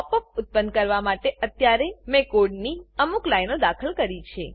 pop up ઉત્પન્ન કરવા માટે અત્યારે મેં કોડની અમુક લાઈનો દાખલ કરી છે